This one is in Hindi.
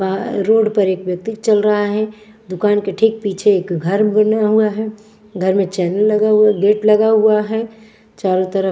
वहाँ रोड पर एक व्यक्ति चल रहा है दुकान के ठीक पीछे एक घर बना हुआ है घर में चैनल लगा हुआ गेट लगा हुआ है चारों तरफ--